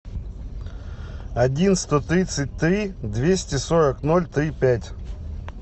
один сто тридцать три двести сорок ноль три пять